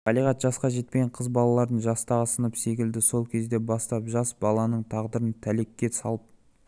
балиғат жасқа жетпеген қыз балаларды жастағы сынып секілді сол кезден бастап жас баланың тағдырын тәлкекке салып